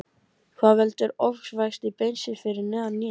Hvað veldur ofvexti beinsins fyrir neðan hné?